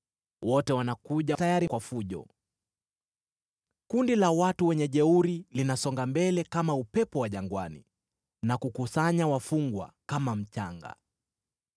wote wanakuja tayari kwa fujo. Makundi yao ya wajeuri yanasonga mbele kama upepo wa jangwani, na kukusanya wafungwa kama mchanga.